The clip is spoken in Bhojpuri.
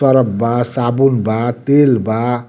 सर्फ़ बा साबुन बा तेल बा।